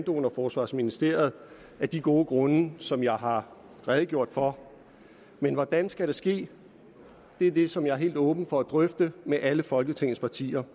og forsvarsministeriet af de gode grunde som jeg har redegjort for men hvordan skal det ske det er det som jeg er helt åben over for at drøfte med alle folketingets partier